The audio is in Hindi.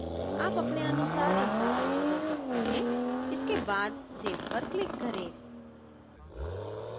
आप अपने अनुसार इनका क्रम बदल सकते हैं इसके बाद save पर click करें